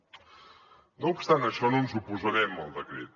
no obstant això no ens oposarem al decret